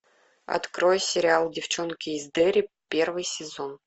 открой сериал девчонки из дерри первый сезон